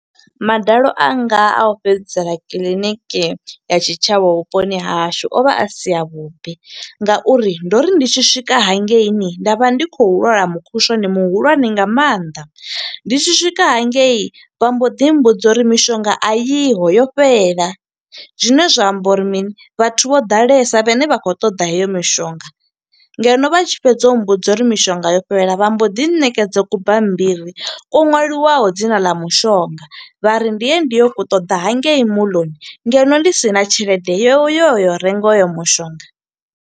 Madalo anga a u fhedzisela kiḽiniki ya tshitshavha vhuponi ha hashu o vha a si a vhuḓi, nga uri ndo ri ndi tshi swika hangeini nda vha ndi khou lwala mukhushwane muhulwane nga maanḓa. Ndi tshi swika hangei vha mbo ḓi mbudza uri mishonga a yiho yo fhela, zwine zwa amba uri mini vhathu vho ḓalesa vhane vha khou ṱoḓa heyo mishonga, ngeno vha tshi fhedza u mmbudza uri mishonga yo fhelela vha mbo ḓi ṋekedza kubammbiri ko ṅwaliwaho dzina ḽa mushonga, vhari ndi ye ndi yo u ṱoḓa hangei moḽoni. Ngeno ndi sina tshelede yo yo yo renga hoyo mushonga.